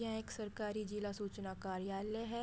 यह एक सरकारी जिला सूचना कार्यालय है।